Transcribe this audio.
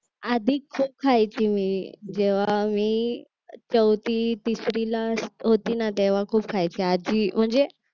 आधी खायची मी जेव्हा मी चौथी तिसरीला होती ना तेव्हा खूप खायचे आधी म्हणजे